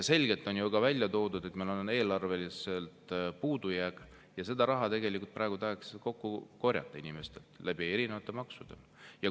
Selgelt on ju ka välja toodud, et meil on eelarves puudujääk, ja seda raha tahetakse praegu inimeste käest kokku korjata erinevate maksude kaudu.